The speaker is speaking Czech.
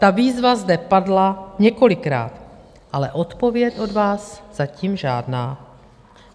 Ta výzva zde padla několikrát, ale odpověď od vás zatím žádná.